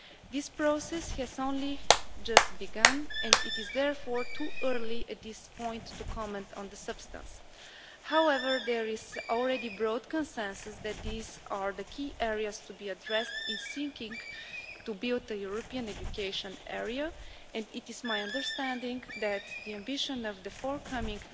This process has only just begun and it is therefore too early at this point to comment on the substance. However, there is already broad consensus that these are the key areas to be addressed in seeking to build a European education area and it is my understanding that the ambition of the forthcoming